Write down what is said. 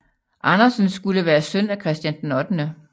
Andersen skulle være søn af Christian 8